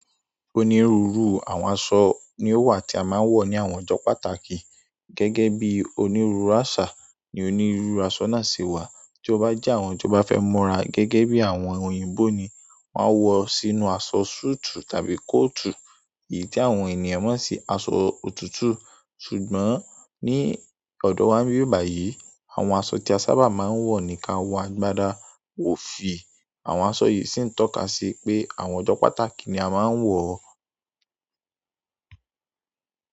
Onírúurú àwọn aṣọ ni ó wà tí a máa ń wọ̀ ní àwọn ọjọ́ pàtàkì. Gẹ́gẹ́ bí onírúurú àṣà ni onírúurú aṣọ náà ṣe wà. Tí o bá jẹ́ àwọn tí o bá fẹ́ múra gẹ́gẹ́ bí àwọn òyìnbó ni, máa wọ sínú aṣọ súùtù tàbí kóòtù. Èyí ni àwọn ènìyàn mo ń ṣi aṣọ òtútù. Ṣùgbọ́n ní ọ̀dọ̀ wa níbi yìí báyìí, àwọn aṣọ tí a sábà máa ń wọ̀ ni ka wọ á gbada. Ó fi àwọn aṣọ yìí sí ń tọ́ka sí pé àwọn ọjọ́ pàtàkì ni a máa ń wọ ọ́.